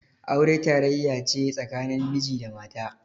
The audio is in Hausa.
Aure tarayya ce tsakanin miji da mata.